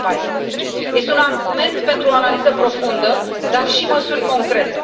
2014. Este un argument pentru o analiză profundă, dar și măsuri concrete.